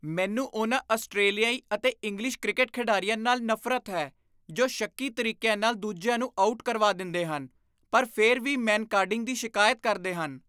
ਮੈਨੂੰ ਉਹਨਾਂ ਆਸਟਰੇਲੀਆਈ ਅਤੇ ਇੰਗਲਿਸ਼ ਕ੍ਰਿਕਟ ਖਿਡਾਰੀਆਂ ਨਾਲ ਨਫ਼ਰਤ ਹੈ ਜੋ ਸ਼ੱਕੀ ਤਰੀਕਿਆਂ ਨਾਲ ਦੂਜਿਆਂ ਨੂੰ ਆਊਟ ਕਰਵਾ ਦਿੰਦੇ ਹਨ ਪਰ ਫਿਰ ਵੀ ਮੈਨਕਾਡਿੰਗ ਦੀ ਸ਼ਿਕਾਇਤ ਕਰਦੇ ਹਨ।